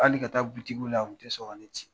Hali ka taa butikiw la u tɛ sɔn ka ne ci